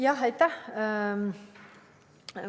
Jah, aitäh!